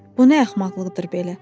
Bu nə axmaqlıqdır belə?